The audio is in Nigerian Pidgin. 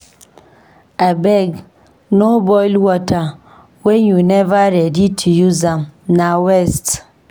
Abeg, no boil water wen you neva ready to use am, na waste.